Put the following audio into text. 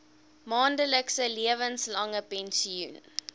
maandelikse lewenslange pensioen